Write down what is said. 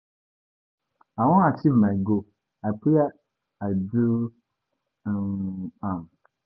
I wan achieve my goal. I prayer I do um am.